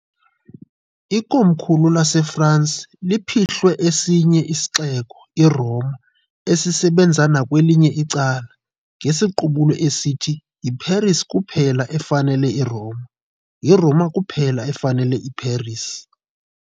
Ikomkhulu laseFrance liphihlwe esinye isixeko, iRoma, esisebenza nakwelinye icala, ngesiqubulo esithi "YiParis kuphela efanele iRoma, yiRoma kuphela efanele iParis".